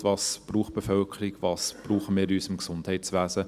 Was braucht die Bevölkerung, was brauchen wir in unserem Gesundheitswesen?